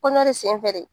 Kɔnɔ de sen fɛ de